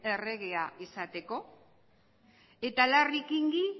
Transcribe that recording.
erregea izateko eta larry kingi